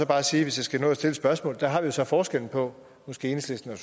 bare sige hvis jeg skal nå at stille et spørgsmål at der har vi så forskellen på enhedslisten og